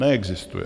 Neexistuje.